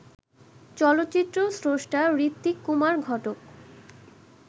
চলচ্চিত্র স্রষ্টা ঋত্বিক কুমার ঘটক